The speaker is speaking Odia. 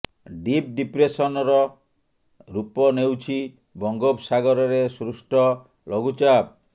ଡିପ୍ ଡିପ୍ରେସନ୍ର ରୂପ ନେଉଛି ବଙ୍ଗୋପ ସାଗରରେ ସୃଷ୍ଟ ଲଘୁଚାପ